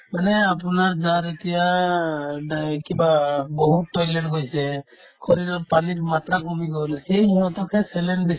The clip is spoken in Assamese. মানে আপোনাৰ গাত এতিয়া ডাই কিবা বহুত toilet গৈছে শৰীৰত পানীৰ মাত্ৰা কমি গ'লে সেই সিহঁতকহে saline দিছে